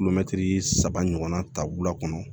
saba ɲɔgɔnna ta wula kɔnɔ